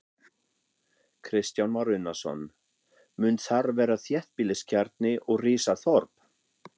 Kristján Már Unnarsson: Mun þar verða þéttbýliskjarni og rísa þorp?